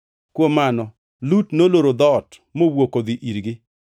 Kuom mano, Lut noloro dhoot mowuok odhi irgi,